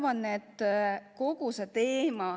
Ma arvan, et kogu see teema tuleb komisjonis arutusele hiljem.